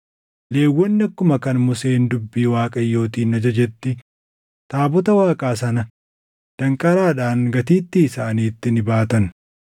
Lewwonni akkuma kan Museen dubbii Waaqayyootiin ajajetti taabota Waaqaa sana danqaraadhaan gatiittii isaaniitti ni baatan.